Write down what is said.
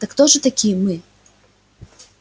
так кто же такие мы